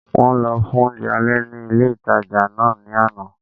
Wọ́n lọ fún oúnjẹ alẹ́ ní ilé-ìtánjẹ náà ní àná